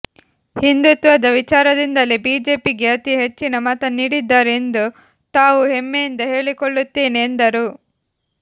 ಹಿಂದುತ್ವದ ವಿಚಾರದಿಂದಲೇ ಬಿಜೆಪಿಗೆ ಅತಿ ಹೆಚ್ಚಿನ ಮತ ನೀಡಿದ್ದಾರೆ ಎಂದು ತಾವು ಹೆಮ್ಮೆಯಿಂದ ಹೇಳಿಕೊಳ್ಳುತ್ತೇನೆ ಎಂದರು